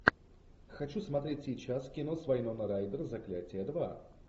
хочу смотреть сейчас кино с вайноной райдер заклятие два